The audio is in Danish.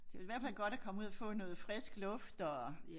Det jo i hvert fald godt at komme ud og få noget frisk luft og